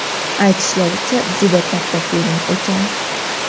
Aytishlaricha, juda katta film ekan.